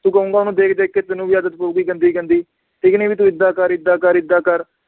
ਤੂੰ ਕਹੂੰਗਾ ਓਹਨੂੰ ਦੇਖ ਦੇਖ ਕੇ ਤੈਨੂੰ ਵੀ ਆਦਤ ਪਊਗੀ ਗੰਦੀ ਗੰਦੀ, ਠੀਕ ਨੀ ਵੀ ਤੂੰ ਏਦਾਂ ਕਰ ਏਦਾਂ ਕਰ ਏਦਾਂ ਕਰ